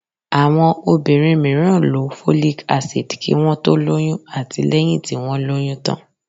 Àwọn obìnrin mìíràn lo folic acid kí wọ́n tó lóyún àti lẹ́yìn tí wọ́n lóyún tán.